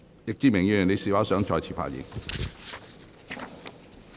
易志明議員，你是否想再次發言？